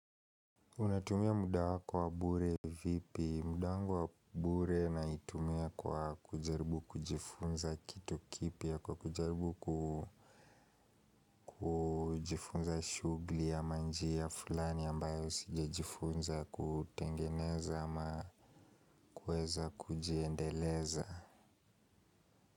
Unatumia muda wako wa bure vipi, muda wangu wa bure natumia kwa kujaribu kujifunza kitu kipya kwa kujaribu kujifunza shughuli ama njia fulani ambayo sijajifunza kutengeneza ama kuweza kujiendeleza.